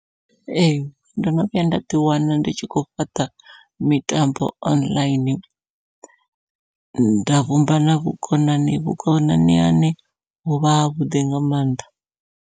Ee ndono vhuya nda ḓi wana ndi tshi khou fhaṱa mitambo online, nda vhumba na vhukonani vhukonani hane hovha havhuḓi nga mannḓa.